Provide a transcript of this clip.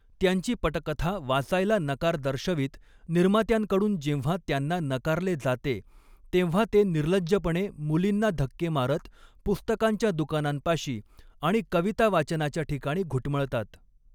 त्यांची पटकथा वाचायला नकार दर्शवित निर्मात्यांकडून जेव्हा त्यांना नकारले जाते, तेव्हा ते निर्लज्जपणे मुलींना धक्के मारत, पुस्तकांच्या दुकानांपाशी आणि कवितावाचनाच्या ठिकाणी घुटमळतात.